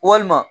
Walima